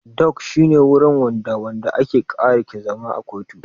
Dok shi ne wurin da wanda ake ƙara ke zama a kotu